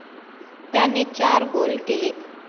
त्याने चार गोल केले.